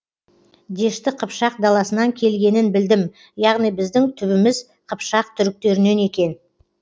дешті қыпшақ даласынан келгенін білдім яғни біздің түбіміз қыпшақ түріктерінен екен